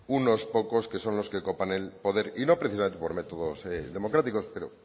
unos pocos que son los que copan el poder y no precisamente por métodos democráticos pero